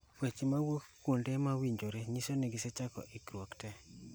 Weche mawuok kuom kuonde mowinjore nyiso ni gisechako ikruok tee